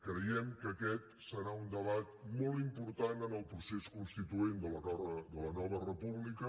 creiem que aquest serà un debat molt important en el procés constituent de la nova república